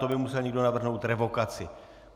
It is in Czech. To by musel někdo navrhnout revokaci.